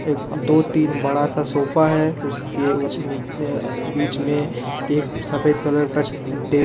दो तीन बड़ा सा सोफा है उसके बीच मे एक सफेद कलर का--